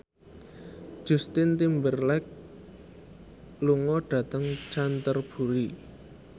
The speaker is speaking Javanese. Justin Timberlake lunga dhateng Canterbury